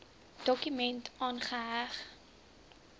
dokument aangeheg